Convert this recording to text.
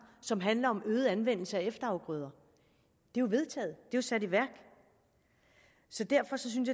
som handler om øget anvendelse af efterafgrøder jo er vedtaget det er sat i værk så derfor synes